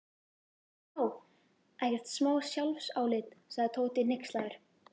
Vá, ekkert smá sjálfsálit sagði Tóti hneykslaður.